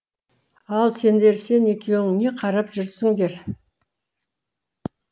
ал сендер сен екеуің не қарап жүрсіңдер